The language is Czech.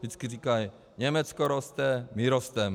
Vždycky říkali: Německo roste, my rosteme.